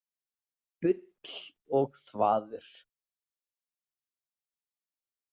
Bull og þvaður.